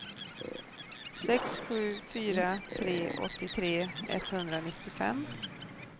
sex sju fyra tre åttiotre etthundranittiofem